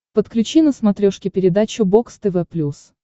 подключи на смотрешке передачу бокс тв плюс